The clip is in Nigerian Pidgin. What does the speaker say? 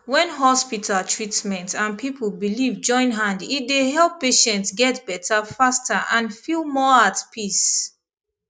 when hospital treatment and people belief join hand e dey help patient get better faster and feel more at peace